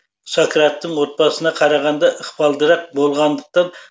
сократтің отбасысына қарағанда ықпалдырақ болғандықтан тұңғыш перзент ксантиппа әкесінің атымен лампрокл деп аталды